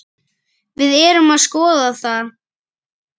Við erum að skoða það.